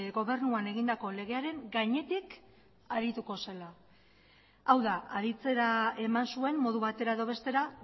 gobernuan egindako legearen gainetik arituko zela hau da aditzera eman zuen modu batera edo bestera